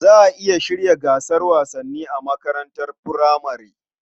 Za a iya shirya gasar wasanni a makarantar furamare.